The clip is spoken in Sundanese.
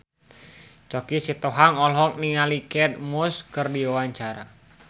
Choky Sitohang olohok ningali Kate Moss keur diwawancara